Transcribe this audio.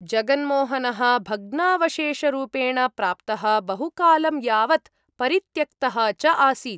जगनमोहनः भग्नावशेषरूपेण प्राप्तः, बहुकालं यावत् परित्यक्तः च आसीत्।